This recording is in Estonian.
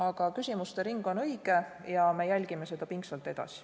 Aga küsimuste ring on õige ja me jälgime seda pingsalt edasi.